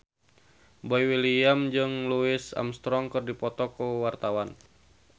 Boy William jeung Louis Armstrong keur dipoto ku wartawan